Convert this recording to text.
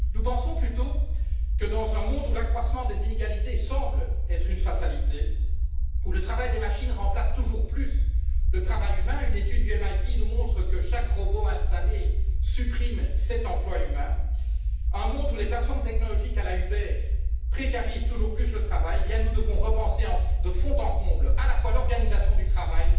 Nous pensons plutôt que, dans un monde où l'accroissement des inégalités semble être une fatalité, où le travail des machines remplace toujours plus le travail humain une étude du MIT nous montre que chaque robot installé supprime sept emplois humains et où les plateformes technologiques à la Uber précarisent toujours plus le travail, nous devons repenser de fond en comble à la fois l'organisation du travail